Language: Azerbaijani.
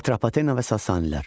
Atropatena və Sasanilər.